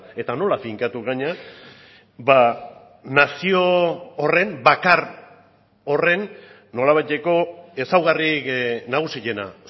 eta nola finkatu gainera nazio horren bakar horren nolabaiteko ezaugarri nagusiena